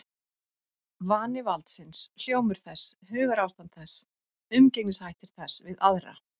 Vani valdsins, hljómur þess, hugarástand þess, umgengnishættir þess við aðra.